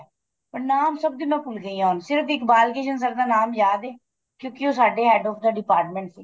ਪਰ ਨਾਮ ਸਭ ਦੇ ਭੁੱਲ ਗਈ ਆ ਸਿਰਫ ਇੱਕ ਬਾਲ ਕ੍ਰਿਸ਼ਨ sir ਦਾ ਨਾਮ ਯਾਦ ਏ ਕਿਉਂਕਿ ਉਹ ਸਾਡੇ head of the department C